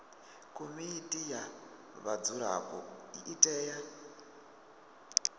komiti ya vhadzulapo i tea